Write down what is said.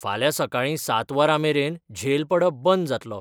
फाल्यां सकाळीं सात वरां मेरेन झेल पडप बंद जातलो